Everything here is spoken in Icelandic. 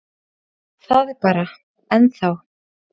Það er bara. ennþá.